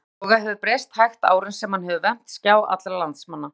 Yfirbragð Boga hefur breyst hægt árin sem hann hefur vermt skjá allra landsmanna.